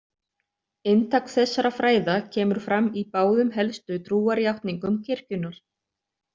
Inntak þessara fræða kemur fram í báðum helstu trúarjátningum kirkjunnar.